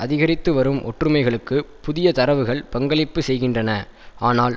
அதிகரித்து வரும் ஒற்றுமைகளுக்கு புதிய தரவுகள் பங்களிப்பு செய்கின்றன ஆனால்